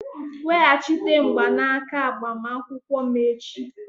Weghachite mgbanaka agbamakwụkwọ m echi!